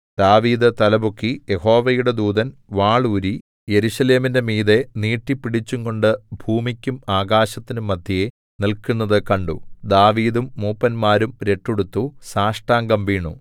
ദാവീദ് തലപൊക്കി യഹോവയുടെ ദൂതൻ വാൾ ഊരി യെരൂശലേമിന് മീതെ നീട്ടിപ്പിടിച്ചുംകൊണ്ട് ഭൂമിക്കും ആകാശത്തിനും മദ്ധ്യേ നില്ക്കുന്നതു കണ്ടു ദാവീദും മൂപ്പന്മാരും രട്ടുടുത്തു സാഷ്ടാംഗം വീണു